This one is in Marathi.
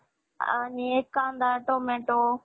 आणि कांदा टोमॅटो